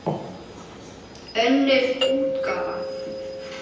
Önnur útgáfa.